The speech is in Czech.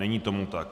Není tomu tak.